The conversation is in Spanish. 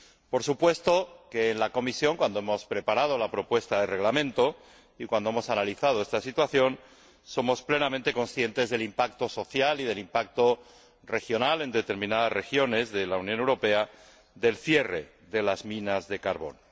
Por supuesto, en la Comisión, cuando hemos preparado la propuesta de Reglamento y cuando hemos analizado esta situación, hemos sido plenamente conscientes del impacto social y del impacto regional, en determinadas regiones de la Unión Europea, del cierre de las minas de carbón.